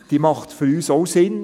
Sie macht für uns auch Sinn.